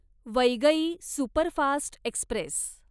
Vaigai superfast Express